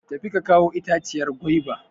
Tafi ka kawo itaciyar gwaiba!